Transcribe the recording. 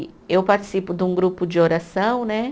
E eu participo de um grupo de oração, né?